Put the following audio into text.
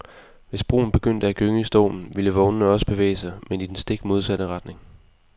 Hvis broen begyndte at gynge i stormen, ville vognene også bevæge sig, men i den stik modsatte retning.